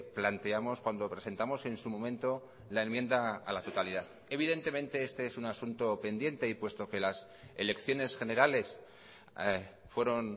planteamos cuando presentamos en su momento la enmienda a la totalidad evidentemente este es un asunto pendiente y puesto que las elecciones generales fueron